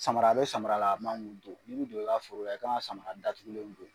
Samara bɛ samara la i man k'olu n'i bɛ don i ka foro la i kan ka samara datugulen de do.